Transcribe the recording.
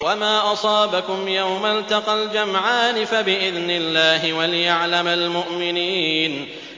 وَمَا أَصَابَكُمْ يَوْمَ الْتَقَى الْجَمْعَانِ فَبِإِذْنِ اللَّهِ وَلِيَعْلَمَ الْمُؤْمِنِينَ